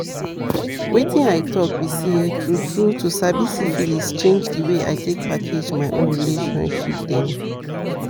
wetin i talk be say true true to sabi syphilis change the way i take package my own relationship dem